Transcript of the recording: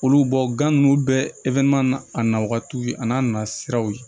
Olu bɔ gan ninnu bɛɛ n'a na wagatiw ye a n'a nasiraw ye